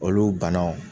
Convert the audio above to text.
Olu bana